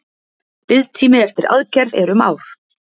Biðtími eftir aðgerð er um ár